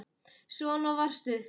Svona varstu.